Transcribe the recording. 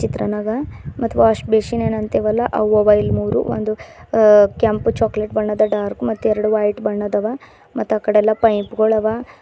ಚಿತ್ರನಾಗ ಮತ್ wash basin ಎನ್ ಅಂತಿವಲ್ಲ ಅವು ಅವ ಇಲ್ಲಿ ಮೂರು ಒಂದು ಆ ಕೆಂಪು ಚಾಕೊಲೇಟ್ ಬಣ್ಣದ ಡಾರ್ಕ್ ಮತ್ತೆ ಎರಡು ವೈಟ್ ಬಣ್ಣದಾವ ಮತ್ ಅಕಡೆ ಎಲ್ಲ ಪೈಪ್ ಗಳು ಅವ.